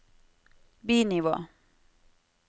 bi-nivå